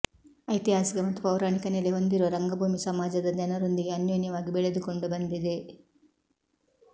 ಐತಿಹಾಸಿಕ ಮತ್ತು ಪೌರಾಣಿಕ ನೆಲೆ ಹೊಂದಿರುವ ರಂಗಭೂಮಿ ಸಮಾಜದ ಜನರೊಂದಿಗೆ ಅನೋನ್ಯವಾಗಿ ಬೆಳೆದುಕೊಂಡು ಬಂದಿದೆ